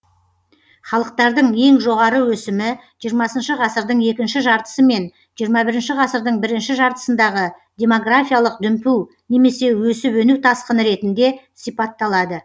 халықтардың ең жоғары өсімі жиырмасыншы ғасырдың екінші жартысы мен жиырма бірінші ғасырдың бірінші жартысындағы демографиялық дүмпу немесе өсіп өну тасқыны ретінде сипатталады